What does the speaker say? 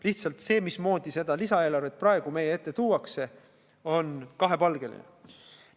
Lihtsalt see viis, mismoodi seda lisaeelarvet praegu meie ette tuuakse, on kahepalgeline.